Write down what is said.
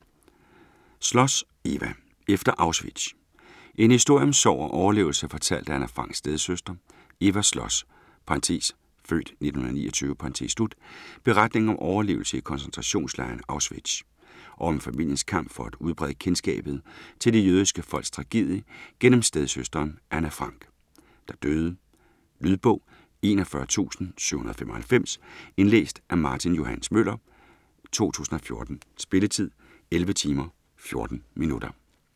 Schloss, Eva: Efter Auschwitz En historie om sorg og overlevelse fortalt af Anne Franks stedsøster. Eva Schloss' (f. 1929) beretning om overlevelse i koncentrationslejren Auschwitz, og om familiens kamp for at udbrede kendskabet til det jødiske folks tragedie gennem stedsøsteren Anne Frank, der døde. Lydbog 41795 Indlæst af Martin Johs. Møller, 2014. Spilletid: 11 timer, 14 minutter.